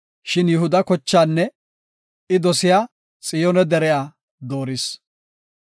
Shin Yihuda kochaanne I dosiya Xiyoone deriya dooris.